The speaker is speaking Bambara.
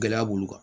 Gɛlɛya b'olu kan